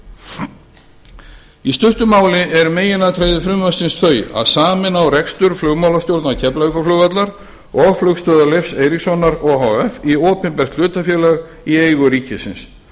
öllu í stuttu máli eru meginatriði frumvarpsins þau að sameina á rekstur flugmálastjórnar keflavíkurflugvallar og flugstöðvar leifs eiríkssonar h f í opinbert hlutafélag í eigu ríkisins